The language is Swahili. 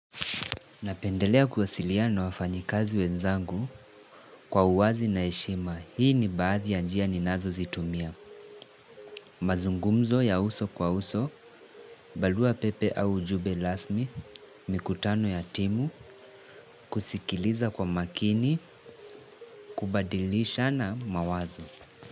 Napendelea kuwasiliana na wafanyakazi wenzangu kwa uwazi na heshima hii ni baadhi ya njia ninazozitumia. Mazungumzo ya uso kwa uso, barua pepe au ujumbe rasmi, mikutano ya timu, kusikiliza kwa makini, kubadilishana mawazo.